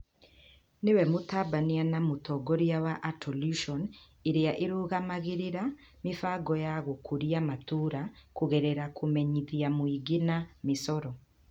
Nĩwe mũtabania na mũtongoria wa Artolution ĩrĩa ĩrũngamagĩrĩra mĩbango ya gũkũria matũũra kũgerera kũmenyithia mũingĩ na mĩcoro.